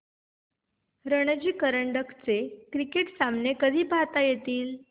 रणजी करंडक चे क्रिकेट सामने कधी पाहता येतील